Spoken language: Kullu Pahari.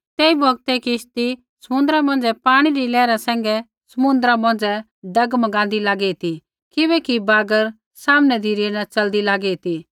तेई बौगत किश्ती समुन्द्रा मौंझ़ै पाणी री लैहरा सैंघै डगमगाँदी लागी ती किबैकि बागर सामनै धिरै न च़लदी लागी ती